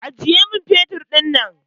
Aje man fetur ɗin!